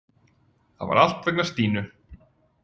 Það var allt vegna Stínu.